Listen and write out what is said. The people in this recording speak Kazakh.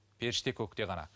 періште көкте ғана